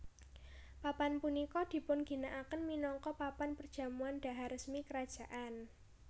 Papan punika dipun ginakaken minangka papan perjamuan dhahar resmi kerajaan